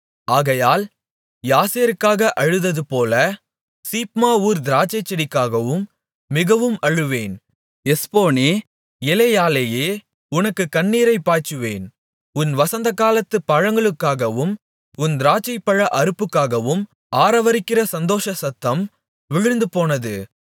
ஆகையால் யாசேருக்காக அழுததுபோல சீப்மா ஊர் திராட்சைச்செடிக்காகவும் மிகவும் அழுவேன் எஸ்போனே எலெயாலெயே உனக்கு என் கண்ணீரைப் பாய்ச்சுவேன் உன் வசந்தகாலத்துப் பழங்களுக்காகவும் உன் திராட்சைப்பழ அறுப்புக்காகவும் ஆரவாரிக்கிற சந்தோஷ சத்தம் விழுந்துபோனது